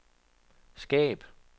skab